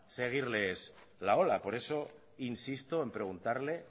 seguirles la ola por eso insisto en preguntarle